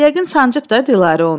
Yəqin sancıb da Dilarə onu.